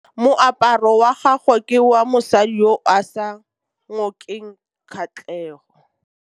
Moaparô wa gagwe ke wa mosadi yo o sa ngôkeng kgatlhegô.